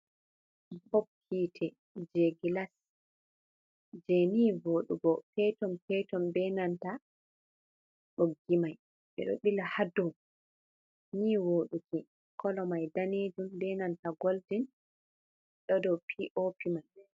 Bop hiite jai gilas je ni vodugo peton peton be nanta boggimai ɓeɗo bila hadow ni voduki, kolomai danejum be nanta goldin do dow bop mai.